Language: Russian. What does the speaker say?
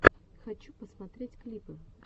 хочу посмотреть клипы